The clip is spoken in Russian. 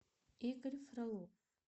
игорь фролов